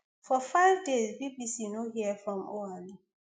for five days bbc no hear from oualy